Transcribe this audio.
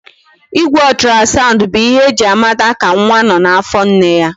Igwe otrasandu bụ ihe eji a mata ka nwa nọ n'afọ nne ya